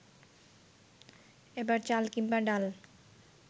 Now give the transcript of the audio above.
এবার চাল কিংবা ডাল